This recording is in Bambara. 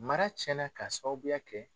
Mara cɛnna ka sababuya kɛ